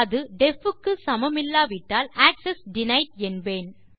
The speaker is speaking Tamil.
அது டெஃப் க்கு சமமில்லாவிட்டால் ஆக்செஸ் டினைட் என்பேன்